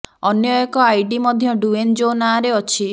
ଅନ୍ୟ ଏକ ଆଇଡି ମଧ୍ୟ ଡ୍ୟୁଏନ ଜେ ନାଁରେ ଅଛି